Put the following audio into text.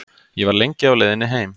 Ég var lengi á leiðinni heim.